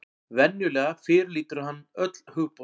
Venjulega fyrirlítur hann öll hugboð.